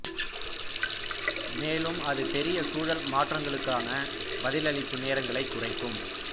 மேலும் அது பெரிய சூழல் மாற்றங்களுக்கான பதிலளிப்பு நேரங்களைக் குறைக்கும்